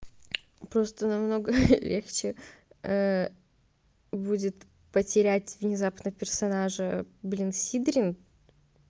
просто намного хе-хе легче будет потерять внезапно персонажа блин сидрин